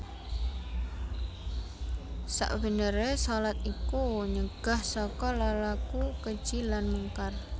Sakbeneré shalat iku nyegah saka lelaku keji lan mungkar